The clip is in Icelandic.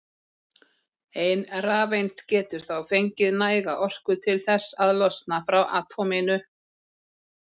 Ein rafeind getur þá fengið næga orku til þess að losna frá atóminu.